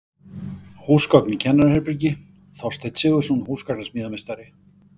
Húsgögn í kennaraherbergi: Þorsteinn Sigurðsson, húsgagnasmíðameistari.